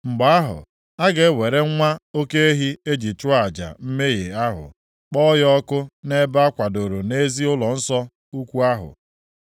Mgbe ahụ, a ga-ewere nwa oke ehi e ji chụọ aja mmehie ahụ, kpọọ ya ọkụ nʼebe a kwadoro nʼezi ụlọnsọ ukwu ahụ.